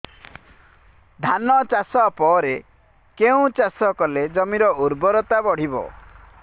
ଧାନ ଚାଷ ପରେ କେଉଁ ଚାଷ କଲେ ଜମିର ଉର୍ବରତା ବଢିବ